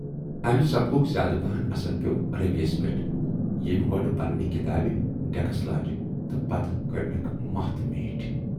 اَمہِ سبقُک زیادٕ پہن اَثر پٮ۪و رٔوۍ یَس پٮ۪ٹھ، ییمۍ گۅڈٕ پَنٕنہِ کِتابہٕ ڈٮ۪کس لاجہِ تہٕ پَتہٕ کٔرنَکھ ماہ تہٕ میٖٹھۍ۔